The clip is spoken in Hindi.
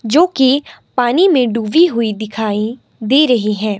जो कि पानी में डूबी हुई दिखाई दे रही है।